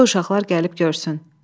Qoy uşaqlar gəlib görsün.